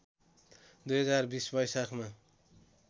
२०२० वैशाखमा